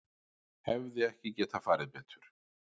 Hefði ekki getað farið betur